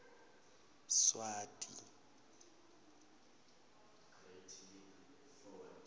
swati